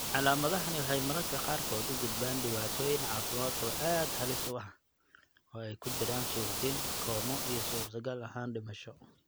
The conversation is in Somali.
Calaamadahani waxay mararka qaarkood u gudbaan dhibaatooyin caafimaad oo aad halis u ah, oo ay ku jiraan suuxdin, koomo, iyo suurtagal ahaan dhimasho.